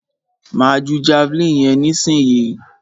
Máa ju javeline yẹn nísìyí.